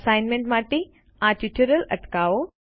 assignment માટે આ tutorial અટકાવો